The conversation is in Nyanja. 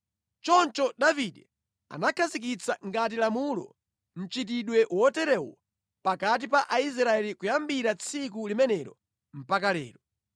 Choncho Davide anakhazikitsa ngati lamulo mʼchitidwe woterewu pakati pa Aisraeli kuyambira tsiku limenelo mpaka lero.